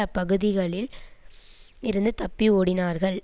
அப்பகுதிகளில் இருந்து தப்பி ஓடினார்கள்